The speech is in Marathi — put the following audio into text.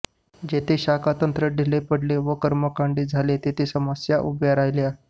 जेथे शाखातंत्र ढिले पडले वा कर्मकांडी झाले तेथे समस्या उभ्या राहिल्या